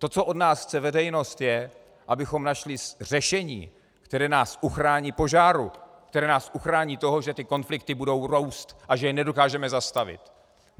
To, co od nás chce veřejnost, je, abychom našli řešení, které nás uchrání požáru, které nás uchrání toho, že ty konflikty budou růst a že je nedokážeme zastavit.